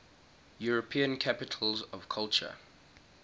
european capitals of culture